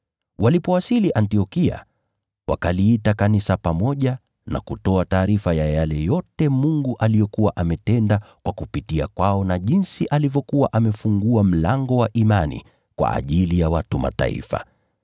Walipowasili Antiokia wakaliita kanisa pamoja na kutoa taarifa ya yale yote Mungu aliyokuwa ametenda kupitia kwao na jinsi alivyokuwa amefungua mlango wa imani kwa ajili ya watu wa Mataifa.